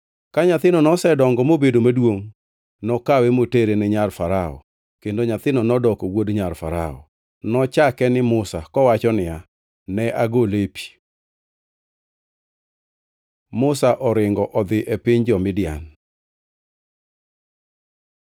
Ka nyathino nosedongo mobedo maduongʼ nokawe motere ne nyar Farao kendo nyathino nodoko wuod nyar Farao. Nochake ni Musa kowacho niya, “Ne agole e pi.” Musa oringo odhi e piny jo-Midian